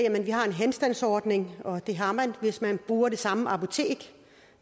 at vi har en henstandsordning og det har man hvis man bruger det samme apotek